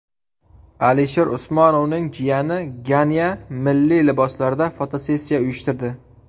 Alisher Usmonovning jiyani Ganya milliy liboslarda fotosessiya uyushtirdi .